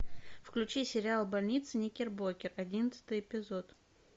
включи сериал больница никербокер одиннадцатый эпизод